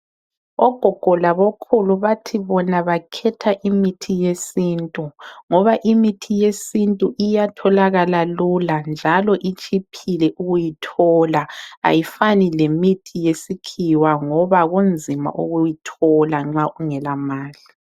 Ogogo labokhulu bathi bona bakhetha imithi yesintu ngoba imithi yesintu iyatholakala lula njalo itshiphile ukuyithola ayifani lemithi yesikhiwa ngoba kunzima ukuyithola nxa ungela mali.